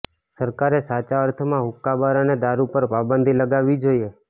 સરકારે સાચા અર્થમાં હુક્કાબાર અને દારૂ પર પાબંદી લગાવવી જોઈએ